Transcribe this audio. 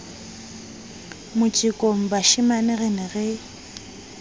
motjekong bashemane re ne re